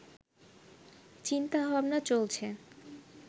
চিন্তা-ভাবনা চলছে